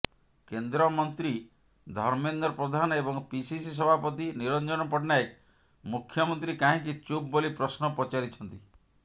କେନ୍ଦ୍ରମନ୍ତ୍ରୀ ଧର୍ମେନ୍ଦ୍ର ପ୍ରଧାନ ଏବଂ ପିସିସି ସଭାପତି ନିରଞ୍ଜନ ପଟ୍ଟନାୟକ ମୁଖ୍ୟମନ୍ତ୍ରୀ କାହିଁକି ଚୁପ୍ ବୋଲି ପ୍ରଶ୍ନ ପଚାରିଛନ୍ତି